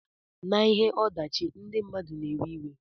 Na ihe odachi ndi mmadu na ewe iwe.